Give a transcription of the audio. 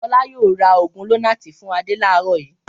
Fọlá yóò ra òògùn Lonart fún Adé láàárọ̀ yìí!